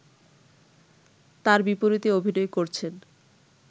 তার বিপরীতে অভিনয় করছেন